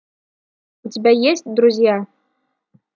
у тебя есть друзья